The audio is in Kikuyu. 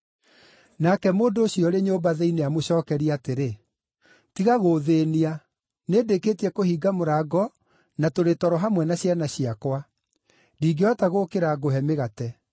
“Nake mũndũ ũcio ũrĩ nyũmba thĩinĩ amũcookerie atĩrĩ, ‘Tiga gũũthĩĩnia. Nĩndĩkĩtie kũhinga mũrango na tũrĩ toro hamwe na ciana ciakwa. Ndingĩhota gũũkĩra ngũhe mĩgate.’